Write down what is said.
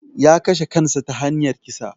Ya kashe kansa ta hanyar kisa